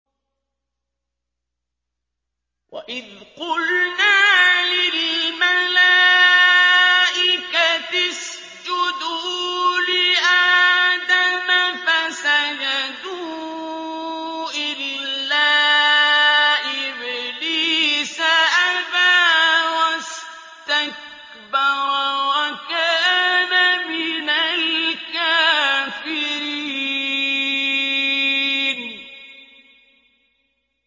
وَإِذْ قُلْنَا لِلْمَلَائِكَةِ اسْجُدُوا لِآدَمَ فَسَجَدُوا إِلَّا إِبْلِيسَ أَبَىٰ وَاسْتَكْبَرَ وَكَانَ مِنَ الْكَافِرِينَ